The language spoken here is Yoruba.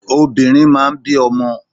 Obìnrin máa ń bí ọmọ.